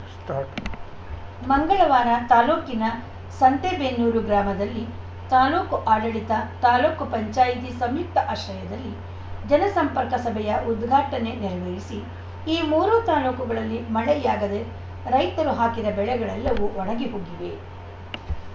start ಮಂಗಳವಾರ ತಾಲೂಕಿನ ಸಂತೆಬೆನ್ನೂರು ಗ್ರಾಮದಲ್ಲಿ ತಾಲೂಕು ಆಡಳಿತ ತಾಲೂಕ್ ಪಂಚಾಯತಿ ಸಂಯುಕ್ತ ಆಶ್ರಯದಲ್ಲಿ ಜನಸಂಪರ್ಕ ಸಭೆಯ ಉದ್ಘಾಟನೆ ನೆರವೇರಿಸಿ ಈ ಮೂರು ತಾಲೂಕುಗಳಲ್ಲಿ ಮಳೆಯಾಗದೆ ರೈತರು ಹಾಕಿದ ಬೆಳೆಗಳೆಲ್ಲವೂ ಒಣಗಿ ಹೋಗಿವೆ